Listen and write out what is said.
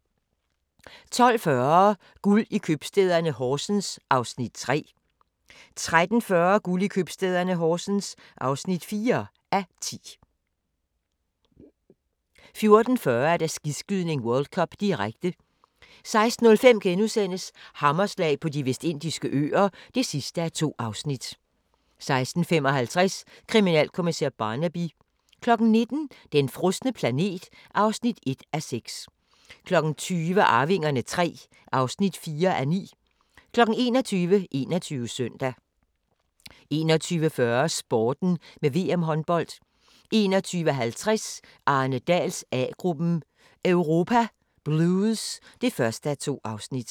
12:40: Guld i købstæderne - Horsens (3:10) 13:40: Guld i købstæderne – Horsens (4:10) 14:40: Skiskydning: World Cup, direkte 16:05: Hammerslag på De Vestindiske Øer (2:2)* 16:55: Kriminalkommissær Barnaby 19:00: Den frosne planet (1:6) 20:00: Arvingerne III (4:9) 21:00: 21 Søndag 21:40: Sporten med VM–håndbold 21:50: Arne Dahls A-gruppen: Europa blues (1:2)